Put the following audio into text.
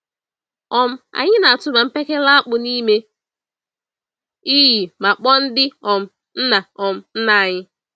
um Anyị na-atụba mkpekele-akpụ n'ime iyi ma kpọọ ndị um nna um nna anyị.